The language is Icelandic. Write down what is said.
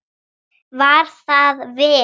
Var það vel.